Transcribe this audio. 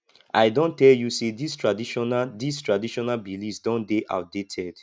i don tell you sey dis traditional dis traditional beliefs don dey outdated